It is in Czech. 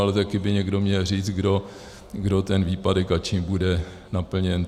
Ale taky by někdo měl říct, kdo ten výpadek a čím bude naplněn.